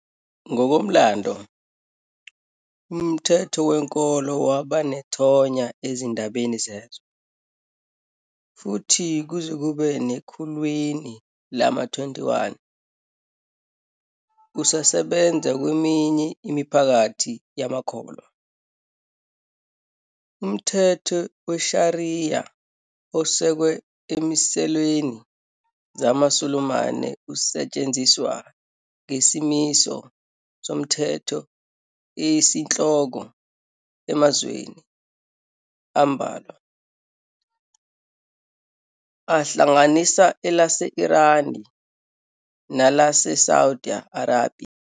Ngokomlando, umthetho wenkolo waba nethonya ezindabeni zezwe, futhi kuze kube sekhulwini lama-21, usasebenza kweminye imiphakathi yamakholwa. Umthetho weShariya osekwe ezimiselweni zamasulumani usetshenziswa ngesimiso somthetho esiyinhloko emazweni ambalwa, ahlanganisa elase-Irani nalase-Saudi Arabiya.